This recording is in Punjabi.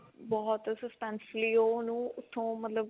ਬਹੁਤ suspense fully ਉਹ ਉਹਨੂੰ ਉਥੋਂ ਮਤਲਬ